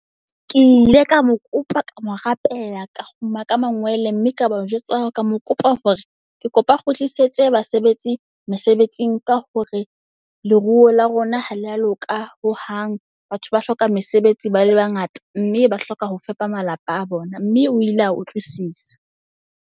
Ke ile ka mo kopa ka mo rapela ka kgumama ka mangwele. Mme ka ba o jwetsa ka mo kopa hore ke kopa o kgutlisetse basebetsi mesebetsing. Ka hore leruo la rona ha le a loka hohang. Batho ba hloka mesebetsi ba le ba ngata, mme ba hloka ho fepa malapa a bona. Mme o ile a utlwisisa.